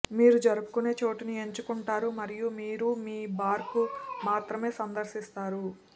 మీరు జరుపుకునే చోటుని ఎంచుకుంటారు మరియు మీరు మీ బార్కు మాత్రమే సందర్శిస్తారు